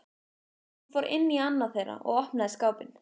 Hún fór inn í annað þeirra og opnaði skápinn.